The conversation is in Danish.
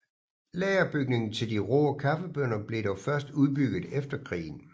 Lagerbygningen til de rå kaffebønner blev dog først udbygget efter krigen